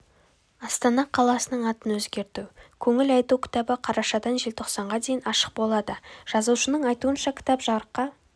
астана қаласының атын өзгерту көңіл айту кітабы қарашадан желтоқсанға дейін ашық болады жазушының айтуынша кітап жарыққа